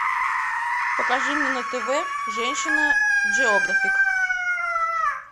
покажи мне на тв женщина джеографик